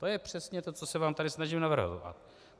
To je přesně to, co se vám tady snažím navrhovat.